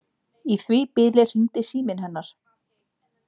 Í því bili hringdi síminn hennar.